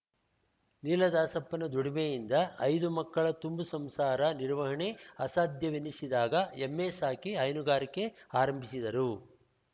ನೀಲದಾಸಪ್ಪನ ದುಡಿಮೆಯಿಂದ ಐದು ಮಕ್ಕಳ ತುಂಬು ಸಂಸಾರ ನಿರ್ವಹಣೆ ಅಸಾಧ್ಯವೆನ್ನಿಸಿದಾಗ ಎಮ್ಮೆ ಸಾಕಿ ಹೈನುಗಾರಿಕೆ ಆರಂಭಿಸಿದರು